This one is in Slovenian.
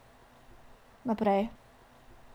Naprej ...